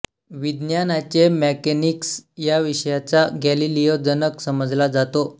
विज्ञानाचे मेकॅनिक्स या विषयाचा गॅलिलिओ जनक समजला जातो